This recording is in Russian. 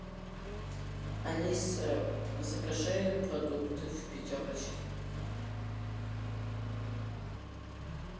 алиса закажи продукты в пятерочке